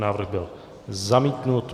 Návrh byl zamítnut.